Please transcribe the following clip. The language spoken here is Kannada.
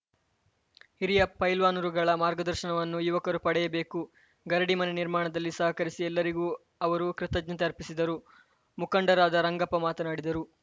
ಹಿರಿಯ ಪೈಲ್ವಾನರುಗಳ ಮಾರ್ಗದರ್ಶನವನ್ನು ಯುವಕರು ಪಡೆಯಬೇಕು ಗರಡಿ ಮನೆ ನಿರ್ಮಾಣದಲ್ಲಿ ಸಹಕರಿಸಿ ಎಲ್ಲರಿಗೂ ಅವರು ಕೃತಜ್ಞತೆ ಅರ್ಪಿಸಿದರು ಮುಖಂಡರಾದ ರಂಗಪ್ಪ ಮಾತನಾಡಿದರು